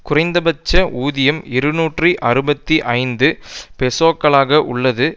குறைந்த பட்ச ஊதியம் இருநூற்றி அறுபத்தி ஐந்து பெசோக்களாக உள்ளது